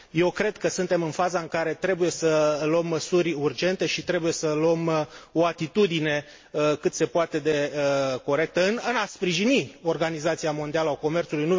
Eu cred că suntem în faza în care trebuie să luăm măsuri urgente și trebuie să luăm o atitudine cât se poate de corectă în a sprijini Organizația Mondială a Comerțului.